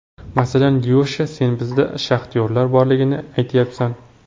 Masalan, Lyosha, sen bizda shaxtyorlar borligini aytyapsan.